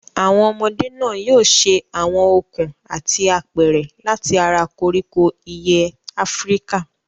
Àwọn ọmọdé náà yóò ṣe àwọn okùn àti apẹ̀rẹ̀ láti ara koríko ìyẹ́ Áfíríkà.